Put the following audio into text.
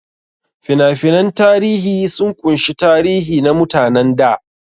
Fina-finan tarihi sun ƙunshi tarihi na mutanen da.